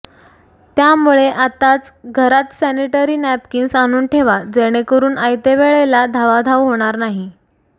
त्यामुळे आताच घरात सॅनिटरी नॅपकिन्स आणून ठेवा जेणेकरून आयत्यावेळेला धावाधाव होणार नाही